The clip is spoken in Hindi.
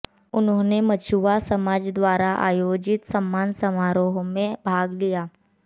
उन्होनें मछुआ समाज द्वारा आयोजित सम्मान समारोह में भाग लिया